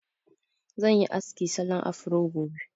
Zan yi aski salon afro gobe